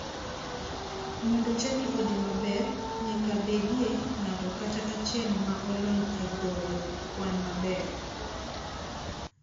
Mondo chadi odhi maber, nyaka bedie ng'ato kata achiel ma olony e goyo kwan maber.